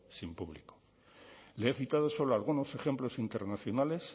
sin público le he citado solo algunos ejemplos internacionales